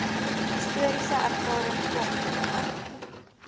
historiese ervaring kom